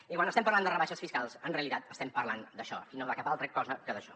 i quan estem parlant de rebaixes fiscals en realitat estem parlant d’això i no de cap altra cosa que d’això